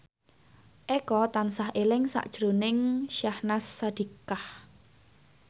Eko tansah eling sakjroning Syahnaz Sadiqah